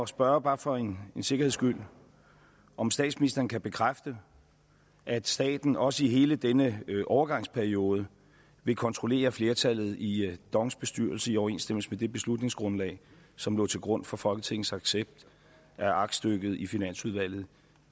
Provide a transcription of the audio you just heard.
spørge bare for en sikkerheds skyld om statsministeren kan bekræfte at staten også i hele denne overgangsperiode vil kontrollere flertallet i dongs bestyrelse i overensstemmelse med det beslutningsgrundlag som lå til grund for folketingets accept af aktstykket i finansudvalget